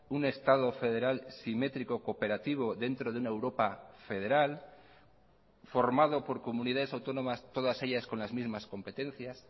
un estado federal simétrico cooperativo dentro de una europa federal formado por comunidades autónomas todas ellas con las mismas competencias